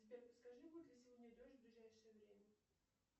сбер подскажи будет ли сегодня дождь в ближайшее время